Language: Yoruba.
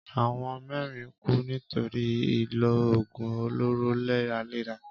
Àwọn mẹ́rin kú nítorí ìlò òògùn olóró léraléra.